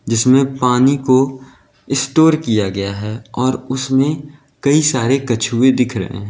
जिसमें पानी को स्टोर किया गया है और उसमें कई सारे कछुए दिख रहे हैं।